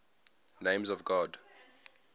names of god